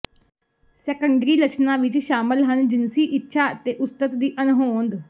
secondary ਲੱਛਣਾਂ ਵਿੱਚ ਸ਼ਾਮਲ ਹਨ ਜਿਨਸੀ ਇੱਛਾ ਅਤੇ ਉਸਤਤ ਦੀ ਅਣਹੋਂਦ